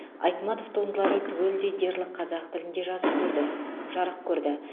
айтматов туындылары түгелдей дерлік қазақ тілінде жазық көрді жарық көрді